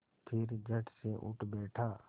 फिर झटसे उठ बैठा